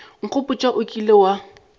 nkgopotša wo o kilego wa